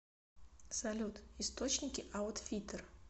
салют источники аутфиттер